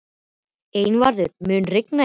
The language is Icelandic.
Einvarður, mun rigna í dag?